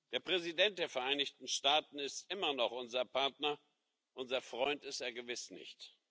Der Präsident der Vereinigten Staaten ist immer noch unser Partner, unser Freund ist er gewiss nicht.